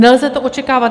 Nelze to očekávat.